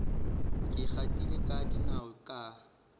ke gatile ka dinao ka